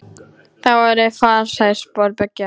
Það voru farsæl spor beggja.